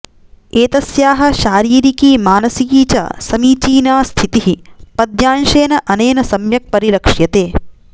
एतस्याः शारीरिकी मानसिकी च समीचीना स्थितिः पद्यांशेन अनेन सम्यक् परिलक्ष्यते